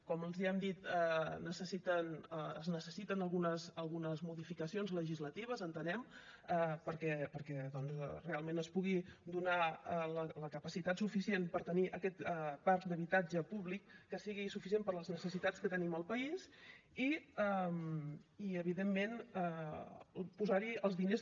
com els hem dit es necessiten algunes modificacions legislatives entenem perquè doncs realment es pugui donar la capacitat suficient per tenir aquest parc d’habitatge públic que sigui suficient per a les necessitats que tenim al país i evidentment posar hi els diners